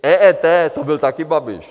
EET, to byl také Babiš.